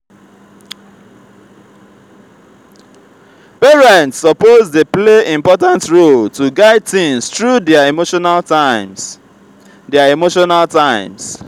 parents suppose dey play important role to guide teens through dier emotional times. dier emotional times.